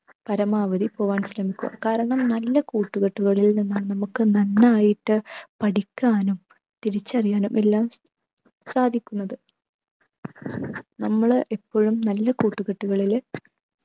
പരമാവധി പോവാൻ ശ്രമിക്കുക കാരണം നല്ല കൂട്ടുകെട്ടുകളിൽ നിന്നും നമുക്ക് നന്നായിട്ട് പഠിക്കാനും തിരിച്ചറിയാനും എല്ലാം സാധിക്കുന്നത് നമ്മള് ഇപ്പോഴും നല്ല കൂട്ടുകെട്ടുകളില്